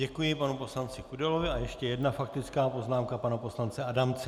Děkuji panu poslanci Kudelovi a ještě jedna faktická poznámka pana poslance Adamce.